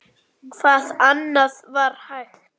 Hvað annað var hægt?